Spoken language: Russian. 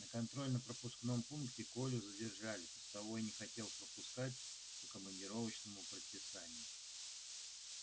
на контрольно пропускном пункте колю задержали постовой не хотел пропускать по командировочному предписанию